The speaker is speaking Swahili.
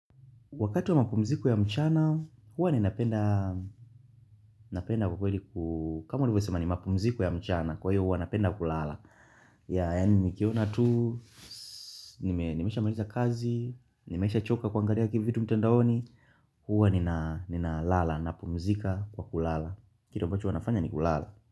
Wakati wa mapumziko ya mchana, huwa ninapenda kwa kweli ku kama ulivyo sema ni mapumziko ya mchana, kwa hiyo huwa napenda kulala. Yaa, yani nikiona tu, nimesha maliza kazi, nimesha choka kuangalia kivitu mtandaoni, huwa nina lala, napumzika kwa kulala. Kitu ambacho huwa nafanya ni kulala.